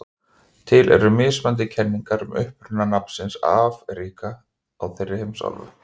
til eru mismunandi kenningar um uppruna nafnsins afríka á þeirri heimsálfu